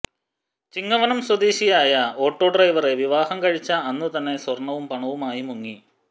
ചിങ്ങവനം സ്വദേശിയായ ഒാേട്ടാ ഡ്രൈവറെ വിവാഹം കഴിച്ച അന്നുതന്നെ സ്വർണവും പണവുമായി മുങ്ങി